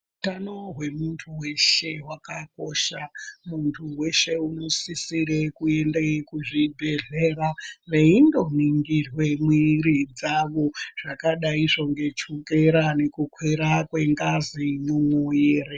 Hutano hwemuntu weshe hwakakosha muntu weshe unosisire kuende kuzvibhedhlera eindo ningirwe mwiri dzavo zvakadaizvo ngechukera nekukwira kwengazi mwumuwiri.